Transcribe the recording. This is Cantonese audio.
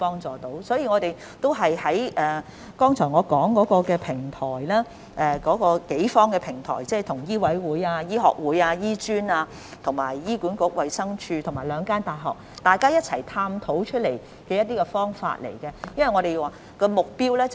這就是我剛才提及的多方平台，食物及衞生局與醫委會、香港醫學會、醫專、醫管局、衞生署及兩間大學共同探討增加醫生人手的方法。